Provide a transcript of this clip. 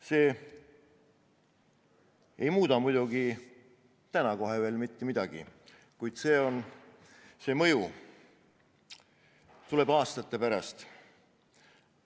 See ei muuda muidugi kohe praegu veel mitte midagi, kuid see mõju tuleb aastate pärast.